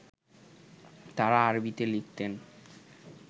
তাঁরা আরবীতে লিখতেন